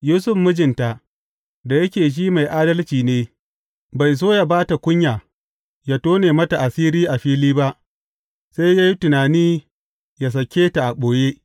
Yusuf mijinta, da yake shi mai adalci ne, bai so yă ba ta kunya, yă tone mata asiri a fili ba, sai ya yi tunani yă sake ta a ɓoye.